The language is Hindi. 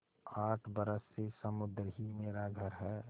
आठ बरस से समुद्र ही मेरा घर है